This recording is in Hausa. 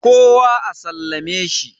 kowa a sallame shi?